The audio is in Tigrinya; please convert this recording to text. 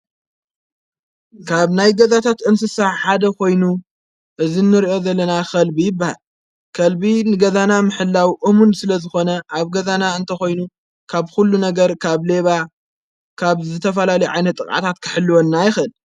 ካብ ናይ ገዛታት እንስሳሕ ሓደ ኾይኑ እዝንርእኦ ዘለና ኸልቢ ይባ ከልቢ ንገዛና ምሕላዊ እሙን ስለ ዝኾነ ኣብ ገዛና እንተኾይኑ ካብ ኲሉ ነገር ካብ ሌባ ካብ ዘተፈላለዩ ዓይነታት ጥቅዓታት ክሕልወና ይኽእል።